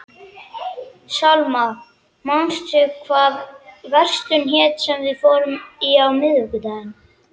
Salma, manstu hvað verslunin hét sem við fórum í á miðvikudaginn?